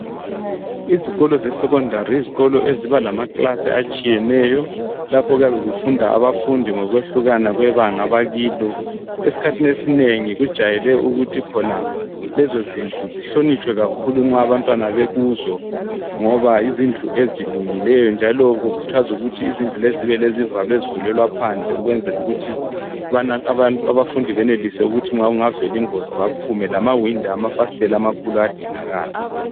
Izikolo sesekhondari yizikolo eziba lamakilasi atshiyeneyo lapho okuyabe ukufunda abafundi ngokwehlukana kwebanga abakilo esikhathini esinengi kujayele ukuthi lezo zindlu zihlonitshwe kakhulu nxa abantwana bekuzo ngoba yizindlu ezilungileyo njalo kukhuthazwa ukuthi izindlu lezi zibe lezivalo ezivulelwa phandle ukwenzela ukuthi abafundi benelise ukuthi nxa kunga vela ingozi baphume lamawindi amfasitela amakhulu ayadinga kala